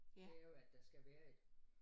Det jo at der skal være et